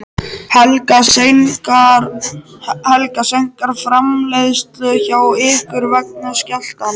Helga: Seinkar framleiðslu hjá ykkur vegna skjálftans?